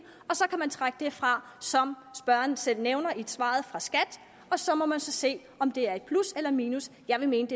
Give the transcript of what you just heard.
og så kan man trække det fra som spørgeren selv nævner i svaret fra skat så må man se om det er i plus eller i minus jeg vil mene at